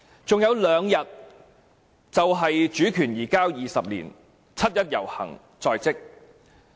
還有兩天便是主權移交20年，七一遊行在即。